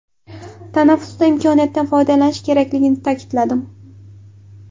Tanaffusda imkoniyatdan foydalanish kerakligini ta’kidladim.